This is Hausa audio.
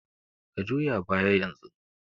Ka juya baya yanzu!